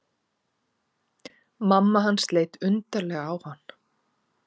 Mamma hans leit undarlega á hann.